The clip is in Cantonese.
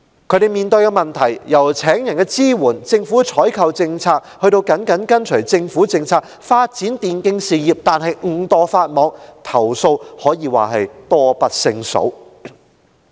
他們面對的問題，由聘請員工的支援、政府的採購政策、甚至緊隨政府政策發展電競事業但誤墮法網的情況，投訴可說是多不勝數。